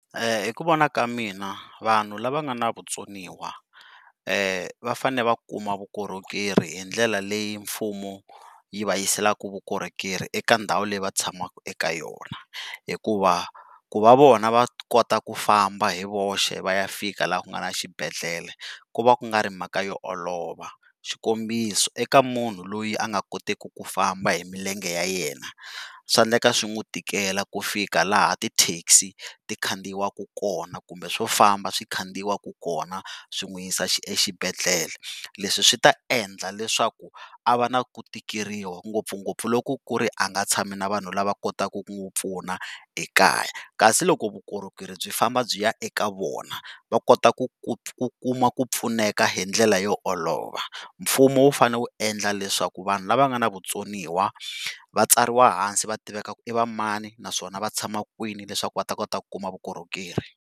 Hi ku vona ka mina vanhu lava nga na vutsoniwa va fane va kuma vukorhokeri hi ndlela leyi mfumo yi va yiselaka vukorhokeri eka ndhawu leyi va tshamaka eka yona hikuva ku va vona va kota ku famba hi voxe va ya fika laha ku nga na xibedhlele ku va ku nga ri mhaka yo olova. Xikombiso eka mhunhu loyi a nga koteki ku famba hi milenge ya yena swa endleka swi n'wu tikela ku fika laha ti taxi ti khandziyiwaka kona kumbe swofamba swi khandziyiwaka kona swi n'wu yisa exibedhlele. Leswi swi ta endla leswaku a va na ku tikeriwa ngopfungopfu loko ku ri a nga tshami na vanhu lava kotaka ku n'wi pfuna ekaya kasi loko vukorhokeri byi famba byi ya eka vona, va kota ku ku ku kuma ku pfuneka hi ndlela yo olova. Mfumo wu fane wu endla leswaku vanhu lava nga na vutsoniwa va tsariwa hansi va tiveka ku i va manai naswona va tshama kwini leswaku va ta kota ku kuma vukorhokeri.